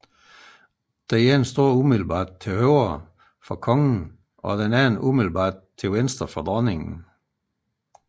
Den ene står umiddelbart til højre for kongen og den anden umiddelbart til venstre for dronningen